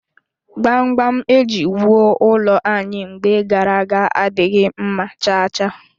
Gbamgbam eji wụọ ụlọ anyị mgbe gara aga adịghị mma cha cha